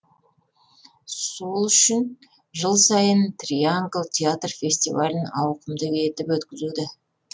сол үшін жыл сайын триангл театр фестивалін ауқымды етіп өткізеді